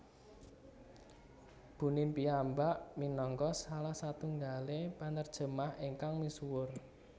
Bunin piyambak minangka salah satunggaling penerjemah ingkang misuwur